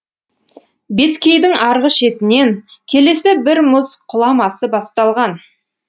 беткейдің арғы шетінен келесі бір мұз құламасы басталған